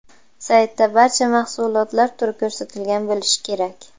Saytda barcha mahsulotlar turi ko‘rsatilgan bo‘lishi kerak.